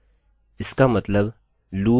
यह 2 एकोecho करेगा